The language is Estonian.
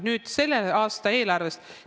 Nüüd selle aasta eelarvest.